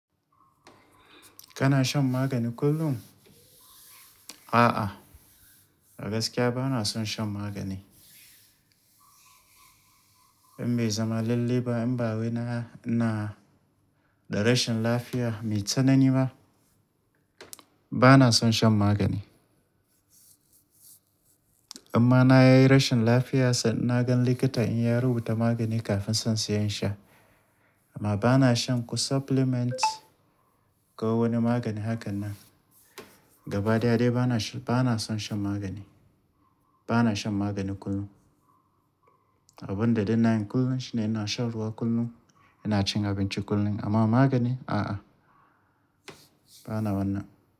Kana shan magani kullum? A'a, a gaskiya ba na son shan magani. In bai zama lallai ba in ba wai na, ina da rashin lafiya mai tsanani ba, ba na son shan magani. Imma na yayi rashin lafiya sannan na gan likita in ya rubuta magani kafin sai in siya in sha. Amma ba na shan ko supplement ko wani magani hakan nan. Gaba daya dai ba na, ba na son shan magani. Ba na shan magani kullum. Abun da na yana kullum shine ina shan ruwa kullum, ina cin abinci kullum, amma magani a'a, ba na wannan.